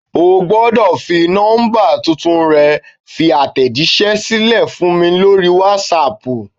Ogbodò fi nọ́mbà tuntun rẹ fi àtẹ̀jísẹ́ sílẹ̀ fún mi lórí Wásaàpù